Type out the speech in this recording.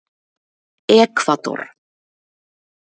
Ekvador